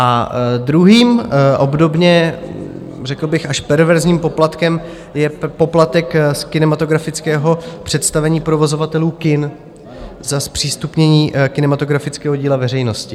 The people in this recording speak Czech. A druhým, obdobně řekl bych až perverzním poplatkem je poplatek z kinematografického představení provozovatelů kin za zpřístupnění kinematografického díla veřejnosti.